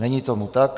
Není tomu tak.